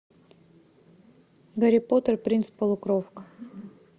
гарри поттер и принц полукровка